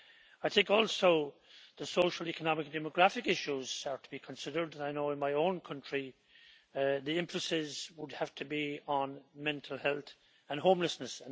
I also think that the social, economic and demographic issues are to be considered, and I know that in my own country the emphasis would have to be on mental health and homelessness.